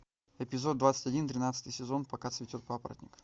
эпизод двадцать один тринадцатый сезон пока цветет папоротник